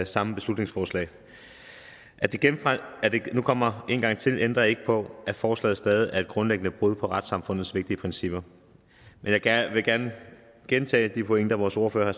samme beslutningsforslag at det nu kommer en gang til ændrer ikke på at forslaget stadig er et grundlæggende brud på retssamfundets vigtige principper jeg vil gerne gentage de pointer vores ordfører